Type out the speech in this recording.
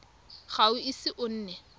ga o ise o nne